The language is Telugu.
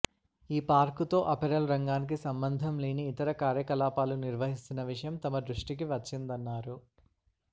ఈ పార్కుతో అపెరల్ రంగానికి సంబంధం లేని ఇతర కార్యకలాపాలు నిర్వహిస్తున్న విషయం తమ దృష్టికి వచ్చిందన్నారు